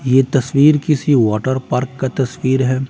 ये तस्वीर किसी वाटर पार्क का तस्वीर है।